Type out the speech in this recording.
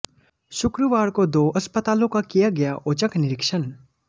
शुक्रवार को दो अस्पतालों का किया गया औचक निरीक्षण